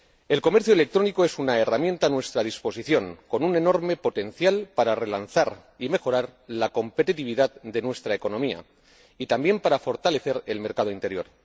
El comercio electrónico es una herramienta a nuestra disposición con un enorme potencial para relanzar y mejorar la competitividad de nuestra economía y también para fortalecer el mercado interior.